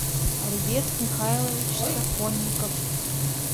альберт михайлович сафонников